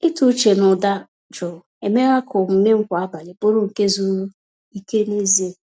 Ịtụ uche na ụda jụụ emeela ka omume m kwa abalị bụrụ nke zuru ike n’ezie.